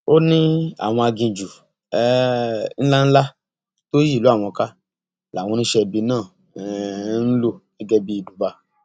ó ní àwọn aginjù um ńlá ńlá tó yí ìlú àwọn ká làwọn oníṣẹẹbí náà ń um lò gẹgẹ bíi ibùba